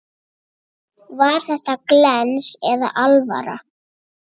Var þetta glens eða alvara?